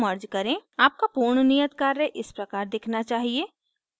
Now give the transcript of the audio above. आपका पूर्ण नियत कार्य इस प्रकार दिखना चाहिए